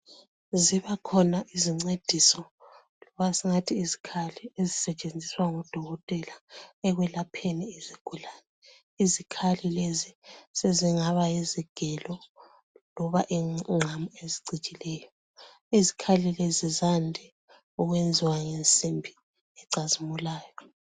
Zibakhona izincediso, masingathi izikhali ezisetshenziswa ngodokotela ekwelapheni izigulane. Izikhali lezi sezingaba yizigelo loba ingqamu ezicijileyo. Izikhali lezi zande ukwenziwa ngensimbi ecazimulayo.